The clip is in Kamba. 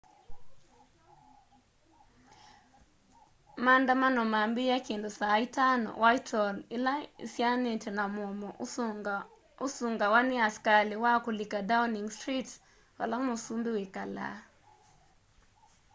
maandamano mambiie kindu saa 11:00 utc+1 whitehall ila isianitye na mũomo ũsungawa ni askali wa kulika downing street vala mũsũmbi wikalaa